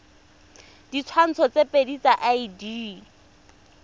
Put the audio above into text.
ditshwantsho tse pedi tsa id